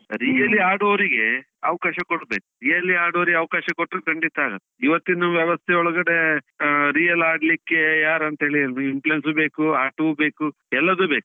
Really ಆಡುವವರಿಗೆ ಅವಕಾಶ ಕೊಡ್ಬೇಕು. really ಆಡುವವರಿಗೆ ಅವಕಾಶ ಕೊಟ್ರೆ ಖಂಡಿತಾ ಆಗತ್ತೆ, ಇವತ್ತಿನ ವ್ಯವಸ್ಥೆ ಒಳಗಡೆ ಆಹ್ real ಆಡ್ಲಿಕ್ಕೆ ಯಾರಂತೇಳಿ influence ಬೇಕು, ಆಟವೂ ಬೇಕು ಎಲ್ಲದು ಬೇಕು.